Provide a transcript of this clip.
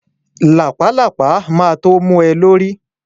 Làpálàpá ma tó mu ẹ lórí